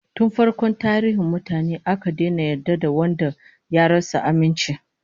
Tun farkon tarihin mutane, aka daina yarda da wanda ya rasa aminci